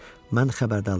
Mən xəbərdarlıq etdim.